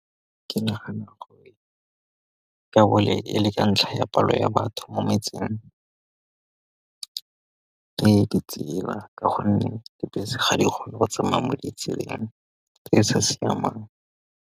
Ke nagana gore e le ka ntlha ya palo ya batho mo metseng, ke ditsela ka gonne dibese ga di kgone go tsamaya mo ditseleng tse di sa siamang.